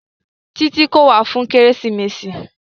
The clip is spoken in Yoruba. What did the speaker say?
Títí kò wá fún kérésìmesì.